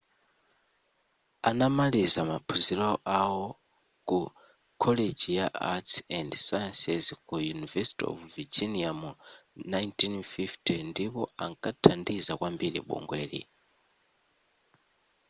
anamaliza maphunziro awo ku college ya arts & sciences ku university of virginia mu 1950 ndipo ankathandiza kwambiri bungweli